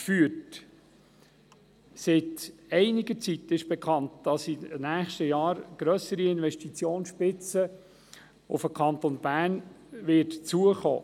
der BaK. Seit einiger Zeit ist bekannt, dass sich in den nächsten Jahren eine grössere Investitionsspitze auf den Kanton Bern zubewegt.